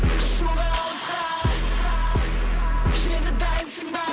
ұшуға алысқа енді дайынсың ба